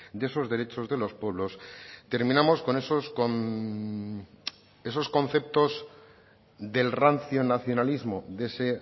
de esos derechos de los pueblos terminamos con esos conceptos del rancio nacionalismo de ese